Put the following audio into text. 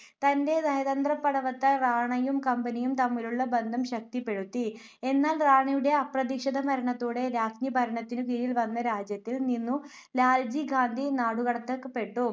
തന്റെ നയതന്ത്രപാടവത്താൽ റാണയും കമ്പനിയും തമ്മിലുള്ള ബന്ധം ശക്തിപെടുത്തി. എന്നാൽ റാണയുടെ അപ്രതീക്ഷിത മരണത്തോടെ രാജ്ഞി ഭരണത്തിനുകീഴിൽ വന്ന രാജ്യത്തിൽ നിന്നു ലാൽജി ഗാന്ധി നാടുകടത്തപെട്ടു.